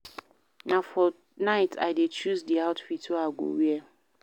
Na for night I dey choose di outfit wey I go wear.